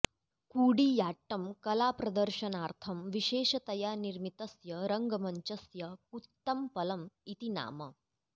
कूडियाट्टं कलाप्रदर्शनार्थं विशेषतया निर्मितस्य रङ्गमञ्चस्य कूत्तम्पलम् इति नाम